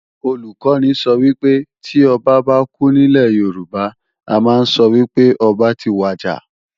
Olùkọ́ni sọ wípé, tí Ọba bá kú nílè Yorùbá, a ma ń sọ wípé ọba ti wàjà